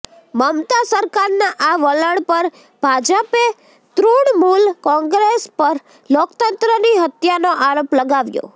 મમતા સરકારના આ વલણ પર ભાજપે તૃણમુલ કોંગ્રેસ પર લોકતંત્રની હત્યાનો આરોપ લગાવ્યો